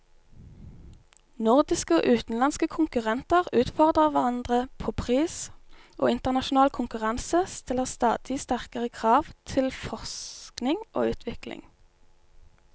Norske og utenlandske konkurrenter utfordrer hverandre på pris, og internasjonal konkurranse stiller stadig sterkere krav til forskning og utvikling.